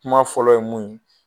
Kuma fɔlɔ ye mun ye.